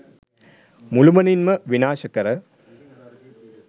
මුළුමනින්ම විනාශ කර